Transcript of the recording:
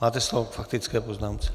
Máte slovo k faktické poznámce.